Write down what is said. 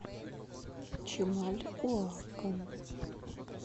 чимальуакан